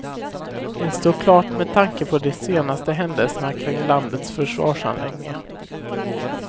Det står klart med tanke på de senaste händelserna kring landets försvarsanläggningar.